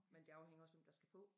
Men det afhænger også hvem der skal på